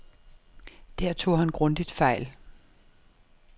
Der tog han grundigt fejl.